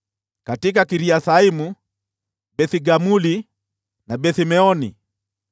katika Kiriathaimu, Beth-Gamuli na Beth-Meoni,